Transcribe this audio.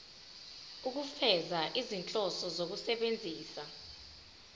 ukufeza izinhloso zokusebenzisa